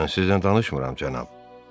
Mən sizinlə danışmıram, cənab.